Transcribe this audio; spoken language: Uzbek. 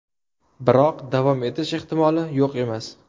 Biroq davom etish ehtimoli yo‘q emas.